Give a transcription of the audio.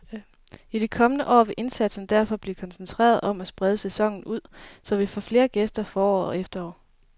I de kommende år vil indsatsen derfor blive koncentreret om at sprede sæsonen ud, så vi får flere gæster forår og efterår.